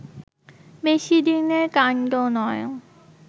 বেশি দিনের কাণ্ড নয়